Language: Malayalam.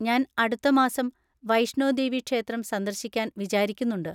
ഞാൻ അടുത്ത മാസം വൈഷ്ണോ ദേവി ക്ഷേത്രം സന്ദർശിക്കാൻ വിചാരിക്കുന്നുണ്ട്.